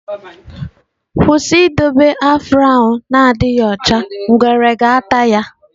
Kwụsị idobe gị afro na-adịghị ọcha, ngwere ga-ata ya!